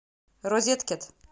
розеткед